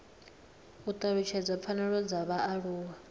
u talutshedza pfanelo dza vhaaluwa